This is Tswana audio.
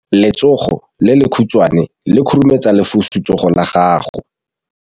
Letsogo le lekhutshwane le khurumetsa lesufutsogo la gago.